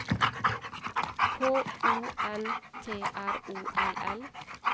K O N T R O L L